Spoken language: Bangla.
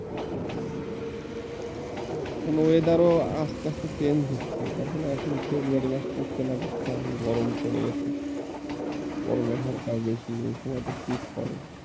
এখন weather ও আস্তে আস্তে চেঞ্জ হচ্ছে দেখো এখন ফেব্রুয়ারি মাস পড়তে না পড়তেই গরম পড়ে যাচ্ছে গরমের হারটাও বেশি এ সময় তো শীত পড়ে।